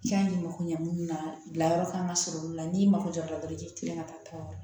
I y'a ɲɛ mako ɲɛ minnu na bila yɔrɔ kan ka sɔrɔ olu la n'i mako jɔ a la dɔrɔn i bɛ tila ka taa tɔɔrɔ